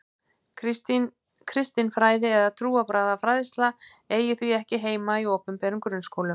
Kristin fræði eða trúarbragðafræðsla eigi því ekki heima í opinberum grunnskólum.